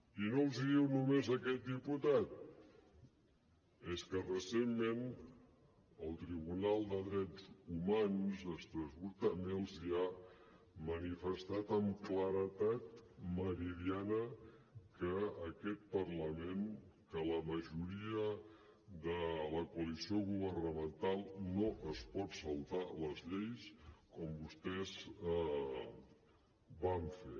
i no els ho diu només aquest diputat és que recentment el tribunal de drets humans d’estrasburg també els ha manifestat amb claredat meridiana que aquest parlament que la majoria de la coalició governamental no es pot saltar les lleis com vostès van fer